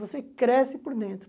Você cresce por dentro.